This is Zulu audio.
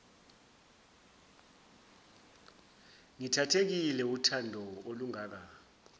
ngithathekile wuthando olungaka